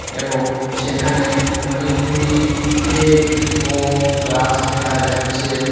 এবং সেখানে অনেকগুলি প্লেট ও গ্লাস দেকা যাচ্চে ।